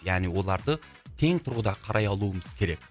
яғни оларды тең тұрғыда қарай алуымыз керек